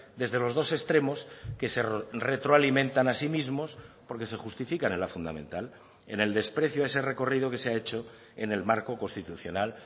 desde los dos extremos que se retroalimentan a sí mismos porque se justifican en la fundamental en el desprecio a ese recorrido que se ha hecho en el marco constitucional